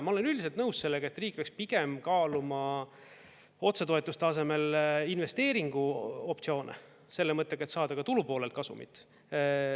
Ma olen üldiselt nõus sellega, et riik peaks pigem kaaluma otsetoetuste asemel investeeringu optsioone selle mõttega, et saada ka tulupoolelt kasumit.